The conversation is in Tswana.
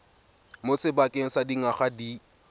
mo sebakeng sa dingwaga di